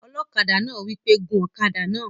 Ọlọ́kadà náà wí pé "gun ọ̀kadà náà!"